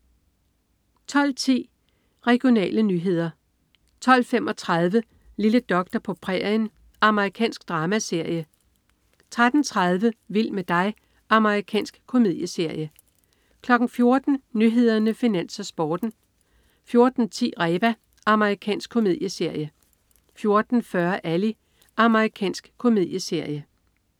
12.10 Regionale nyheder (man-fre) 12.35 Lille doktor på prærien. Amerikansk dramaserie (man-fre) 13.30 Vild med dig. Amerikansk komedieserie (man-fre) 14.00 Nyhederne, Finans, Sporten (man-fre) 14.10 Reba. Amerikansk komedieserie (man-fre) 14.40 Ally. Amerikansk komedieserie (man-fre)